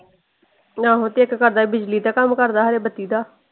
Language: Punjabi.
ਆਹੋ ਤੇ ਇਕ ਕਰਦਾ ਸੀ ਬਿਜਲੀ ਦਾ ਕੰਮ ਕਰਦਾ ਖਰੇ ਬੱਤੀ ਦਾ।